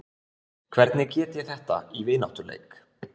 Hvernig get ég þetta í vináttuleik?